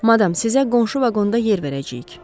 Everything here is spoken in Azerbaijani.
Madam, sizə qonşu vaqonda yer verəcəyik.